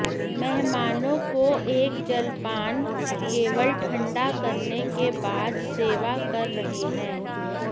मेहमानों को एक जलपान केवल ठंडा करने के बाद सेवा कर रहे हैं